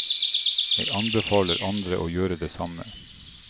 Og jeg anbefaler andre å gjøre det samme.